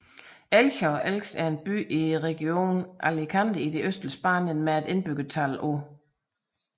Elche og Elx er en by i regionen Alicante i det østlige Spanien med et indbyggertal på